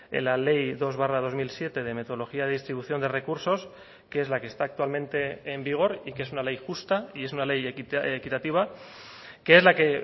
en la ley dos barra dos mil siete de metodología de distribución de recursos que es la que está actualmente en vigor y que es una ley justa y es una ley equitativa que es la que